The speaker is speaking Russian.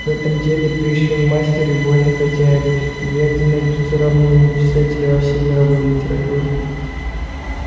в этом деле пришвин мастер и вольный хозяин и вряд ли найдутся равные ему писатели во всей мировой литературе